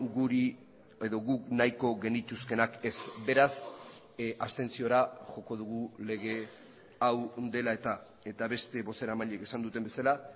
guri edo guk nahiko genituzkeenak ez beraz abstentziora joko dugu lege hau dela eta eta beste bozeramaileek esan duten bezala